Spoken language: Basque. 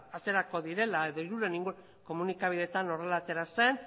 aterako direla edo hirurehun inguru komunikabideetan horrela atera zen